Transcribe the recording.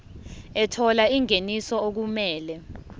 ethola ingeniso okumele